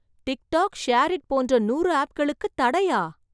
Tic tac, SHAREit போன்ற நூறு ஆப்களுக்குத் தடையா ?